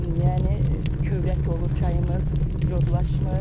Yəni kövrək olur çayımız, codlaşmır.